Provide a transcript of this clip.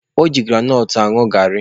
O ji granọt ṅụọ garị.